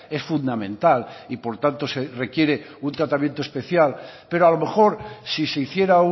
es fundamental y por tanto se requiere un tratamiento especial pero a lo mejor si se hiciera